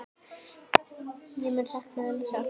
Ég mun sakna hennar sárt.